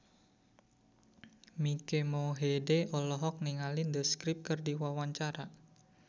Mike Mohede olohok ningali The Script keur diwawancara